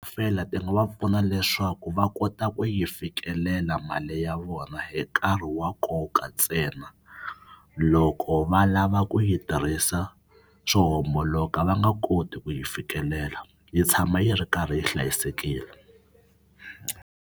ti nga va pfuna leswaku va kota ku yi fikelela mali ya vona hi nkarhi wa nkoka ntsena. Loko va lava ku yi tirhisa swo homboloka va nga koti ku yi fikelela yi tshama yi ri karhi yi hlayisekile.